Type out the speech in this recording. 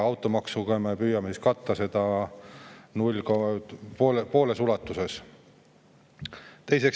Automaksuga püütakse seda katta pooles ulatuses.